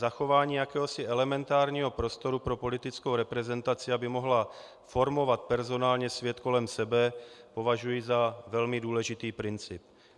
Zachování jakéhosi elementárního prostoru pro politickou reprezentaci, aby mohla formovat personálně svět kolem sebe, považuji za velmi důležitý princip.